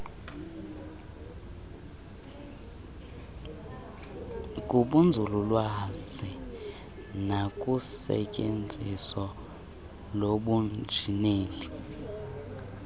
kubunzululwazi nakusetyenziso lobunjineli